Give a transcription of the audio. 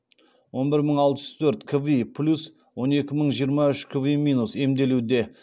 он бір мың алты жүз төрт кви плюс және он екі мың жиырма үш кви минус емделуде